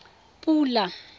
pula